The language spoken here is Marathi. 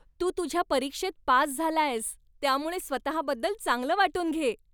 तू तुझ्या परीक्षेत पास झालायस, त्यामुळे स्वतःबद्दल चांगलं वाटून घे.